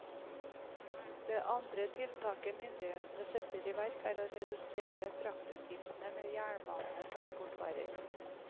Det andre tiltaket myndighetene setter i verk, er å redusere fraktutgiftene med jernbane på importvarer.